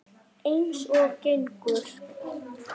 Eins og gengur.